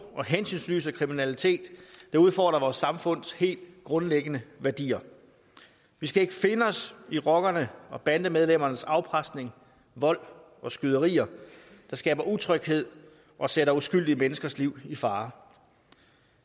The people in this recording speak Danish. og hensynsløse kriminalitet udfordrer vores samfunds helt grundlæggende værdier vi skal ikke finde os i rockernes og bandemedlemmernes afpresning vold og skyderier der skaber utryghed og sætter uskyldige menneskers liv i fare